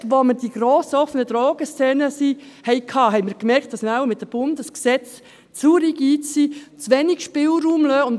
Erst als wir die grossen offenen Drogenszenen hatten, merkten wir, dass wir wahrscheinlich mit den Bundesgesetzen zu rigide sind, zu wenig Spielraum haben.